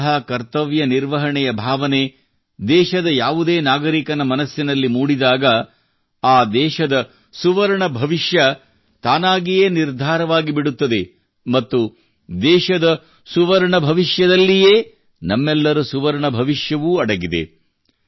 ಇಂತಹ ಕರ್ತವ್ಯ ನಿರ್ವಹಣೆಯ ಭಾವನೆ ದೇಶದ ಯಾವುದೇ ನಾಗರಿಕನ ಮನಸ್ಸಿನಲ್ಲಿ ಮೂಡಿದಾಗ ಆ ದೇಶದ ಸುವರ್ಣ ಭವಿಷ್ಯ ತಾನಾಗಿಯೇ ನಿರ್ಧಾರವಾಗಿಬಿಡುತ್ತದೆ ಮತ್ತು ದೇಶದ ಸುವರ್ಣ ಭವಿಷ್ಯದಲ್ಲಿಯೇ ನಮ್ಮೆಲ್ಲರ ಸುವರ್ಣ ಭವಿಷ್ಯವೂ ಅಡಗಿದೆ